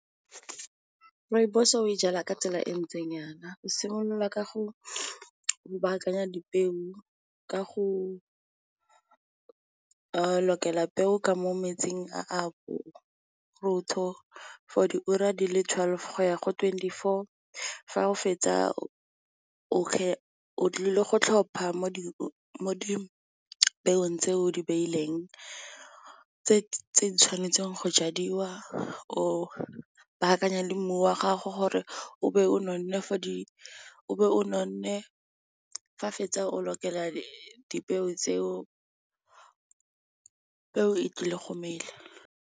Rooibos-o e jalwa ka tsela e ntseng yana. O simolola ka go baakanya dipeo ka go lokela peo ka mo metsing a for diura di le twelve go ya go twenty-four, fa o fetsa o tlile go tlhopha mo dipeong tse o di beileng tse di tshwanetseng go jadiwa, o bakanya le mmu wa gago o be o nonne fa o fetsa o lokela dipeo tseo tlile go mela.